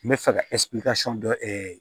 N bɛ fɛ ka dɔ